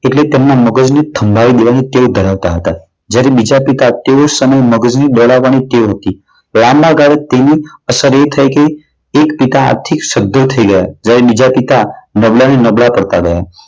એટલે તેમના મગજને સંભળાવી દેવાની ટેવ ધરાવતા હતા. જ્યારે બીજા પિતા તેઓને સમયે મગજ દોડવાની ટેવ હતી. લાંબા ગાળે તેની અસર એ થઈ ગઈ એક પિતા આર્થિક સધ્ધર થઈ ગયા. જ્યારે બીજા પિતા નબળા ને નબળા પડતા ગયા.